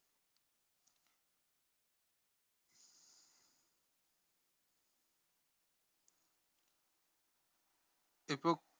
இப்போ